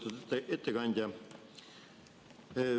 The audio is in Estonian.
Lugupeetud ettekandja!